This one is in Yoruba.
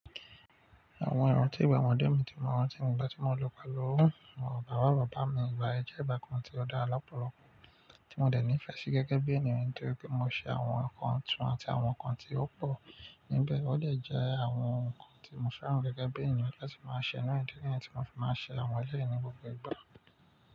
Àwọn ìran tí ìgbà ọmọdé mi tí mo rántí nígbà tí mo lọ pẹ̀lú àwọn bàbá bàbá mi, ìgbà ẹ jẹ́ ìgbà kan tí ó dára lọ́pọ̀lọpọ̀ tí mo dẹ̀ nífẹ̀ẹ́ sí gẹ́gẹ́ bí ènìyàn tó rí pé mo ṣe àwọn ǹkan tuntun àti àwọn ǹkan tí ó pọ̀ níbẹ̀. Ó dè jẹ́ àwọn ǹkan tí mo fẹ́ràn gẹ́gẹ́ bí ènìyàn láti máa ṣe ńlá nítorí pé tí mo fi máa ṣe àwọn ẹlẹ́yìí ní gbogbo ìgbà.